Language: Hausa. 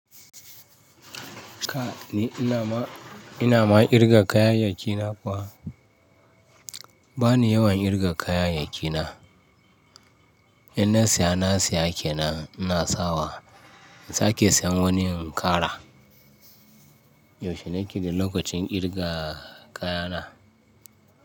Ka ni ina ma, ina ma ƙirga kayayyaki na kuwa? Ba ni yawan ƙirga kayayyaki na. Inna siya na siya kenan ina sawa. Sa ke siyan wani in kara. Yaushe ne kike lokacin kirga kaya na?